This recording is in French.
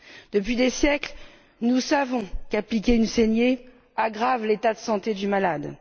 Depuis des siècles, nous savons qu'appliquer une saignée aggrave l'état de santé du malade.